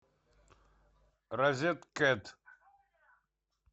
розеткед